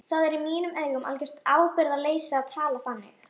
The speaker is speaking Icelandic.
Það er í mínum augum algjört ábyrgðarleysi að tala þannig.